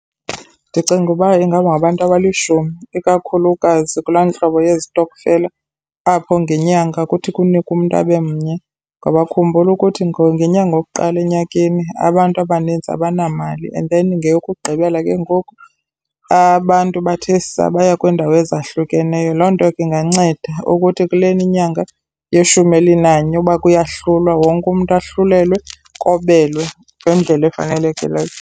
Ndicinga uba ingangabantu abalishumi ikakhulukazi kulaa ntlobo yezitokfela apho ngenyanga kuthi kunikwe umntu abe mnye, ngoba khumbula ukuthi ngenyanga yokuqala enyakeni abantu abaninzi abanamali and then ngeyokugqibela ke ngoku abantu bathe saa, baya kwiindawo ezahlukeneyo. Loo nto ke inganceda ukuthi kulena inyanga yeshumi elinanye uba kuyahlulwa, wonke umntu ahlulelwe kobelwe ngendlela efanelekileyo.